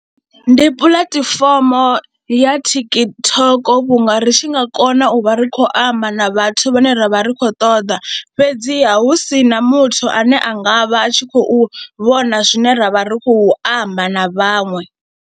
Ndi puḽatifomo ya TikTok vhunga ri tshi nga kona u vha ri khou amba na vhathu vhane ra vha ri khou ṱoḓa fhedziha hu si na muthu ane a nga vha a tshi khou vhona zwine ra vha ri khou amba na vhaṅwe.